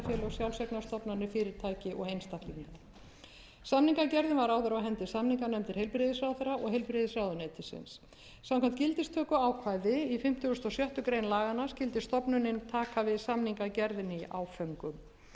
sjálfseignarstofnanir fyrirtæki og einstaklinga samningagerðin var áður á hendi samninganefndar heilbrigðisráðherra og heilbrigðisráðuneytisins samkvæmt gildistökuákvæði í fimmtugasta og sjöttu grein laganna skyldi stofnunin taka við samningagerðinni í áföngum sá hluti